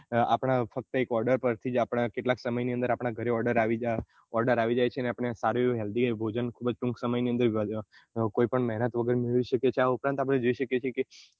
આપના ફક્ત એક order પરથી આપના કેટલા સમય ની અંદર આપના order આવી જાય છે આપને સારું એવું healthy ભોજન ખુબ જ ટુક સમય ની અંદર કોઈ પણ મહેનત વગર આ ઉપરાંત આપને જોઈ શકીએ છીએ